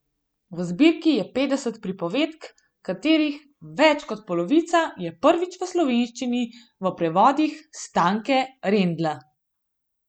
V zbirki je petdeset pripovedk, katerih več kot polovica je prvič v slovenščini v prevodih Stanke Rendla.